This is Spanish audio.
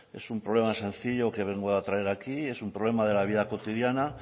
es un problema sencillo que vengo a traer aquí es un problema de la vida cotidiana